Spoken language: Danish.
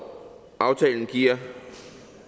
aftalen giver